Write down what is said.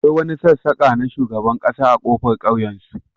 akwai wani sassaka na shugaban kasa a kofar kauyensu